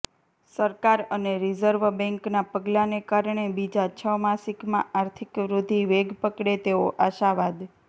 સરકાર અને રિઝર્વ બેન્કનાં પગલાંને કારણે બીજા છ માસિકમાં આર્થિક વૃદ્ધિ વેગ પકડે તેવો આશાવાદ